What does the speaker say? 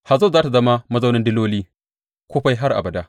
Hazor za tă zama mazaunin diloli, kufai har abada.